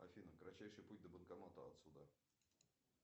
афина кратчайший путь до банкомата отсюда